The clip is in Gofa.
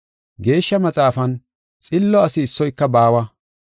Geeshsha Maxaafan, “Xillo asi issoyka baawa.